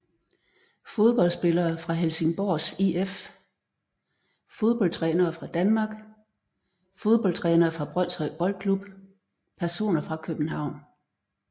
Fodboldspillere fra Helsingborgs IF Fodboldtrænere fra Danmark Fodboldtrænere fra Brønshøj Boldklub Personer fra København